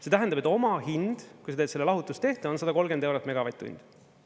See tähendab, et omahind, kui sa teed selle lahutustehte, on 130 eurot megavatt-tundi.